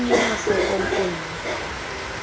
o ie mahlokong o ie